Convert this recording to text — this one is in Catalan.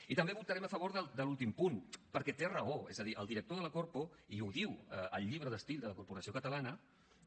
i també votarem a favor de l’últim punt perquè té raó és a dir el director de la corpo i ho diu el llibre d’estil de la corporació catalana